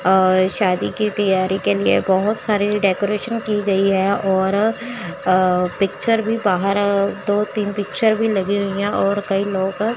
अ शादी की तैयारी के लिए बहुत सारे डेकोरेशन की गई है और अ पिक्चर भी बाहर अ दो तीन पिक्चर भी लगी हुई है और कई लोग --